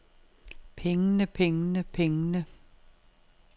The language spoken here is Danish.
pengene pengene pengene